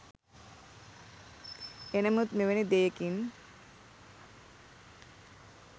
එනමුත් මෙවැනි දෙයකින්